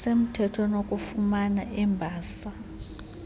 semthweni wokufumana imbasa